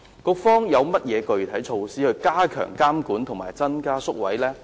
局方有何具體措施加強監管及增加宿位？